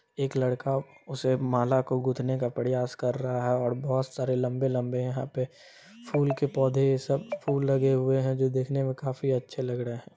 एक लड़का उसे माला को गुथने का प्रयास कर रहा है और बहुत सारे लंबे-लंबे यहां पे फूल के पौधे सब फूल लगे हुए हैं जो देखने में काफी अच्छे लग रहे हैं।